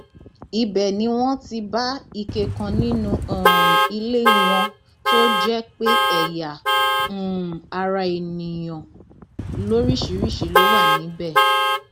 ibẹ ni wọn ti bá ike kan nínú um ilé wọn tó jẹ pé ẹyà um ara èèyàn lóríṣìíríṣìí ló wà níbẹ